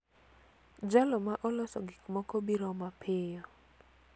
Jalo ma oloso gik moko biro mapiyo.